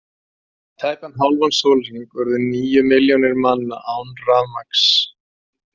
Í tæpan hálfan sólarhring urðu níu milljónir manna án rafmagns.